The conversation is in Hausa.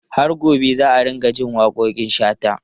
Har gobe za a dinga jin waƙoƙin Shata.